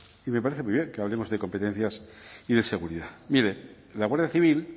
y me parece muy bien que hablemos de competencias y de seguridad mire la guardia civil